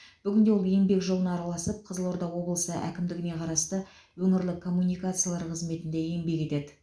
бүгінде ол еңбек жолына араласып қызылорда облысы әкімдігіне қарасты өңірлік коммуникациялар қызметінде еңбек етеді